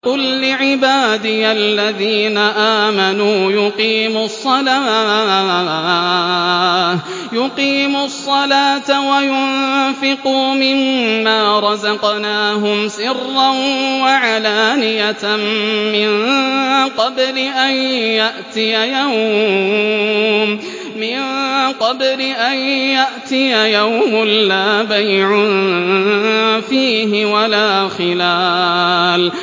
قُل لِّعِبَادِيَ الَّذِينَ آمَنُوا يُقِيمُوا الصَّلَاةَ وَيُنفِقُوا مِمَّا رَزَقْنَاهُمْ سِرًّا وَعَلَانِيَةً مِّن قَبْلِ أَن يَأْتِيَ يَوْمٌ لَّا بَيْعٌ فِيهِ وَلَا خِلَالٌ